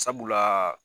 Sabula